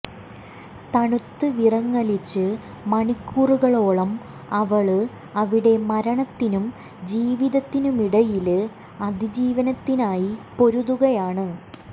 തണുത്ത് വിറങ്ങലിച്ച് മണിക്കൂറുകളോളം അവള് അവിടെ മരണത്തിനും ജീവിതത്തിനുമിടയില് അതിജീവനത്തിനായി പൊരുതുകയാണ്